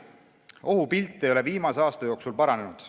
Ohupilt ei ole viimase aasta jooksul paranenud.